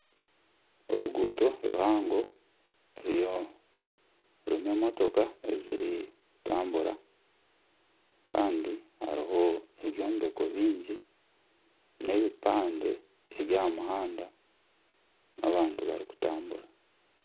Oruguuto ruhango rurimu emotoka zirikutambura Kandi hariho ebyombeko byingi nana epipande ebyaha muhanda n'abantu barikutambura.